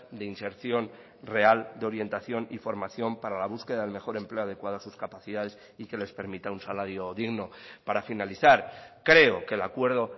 de inserción real de orientación y formación para la búsqueda del mejor empleo adecuada a sus capacidades y que les permitan un salario digno para finalizar creo que el acuerdo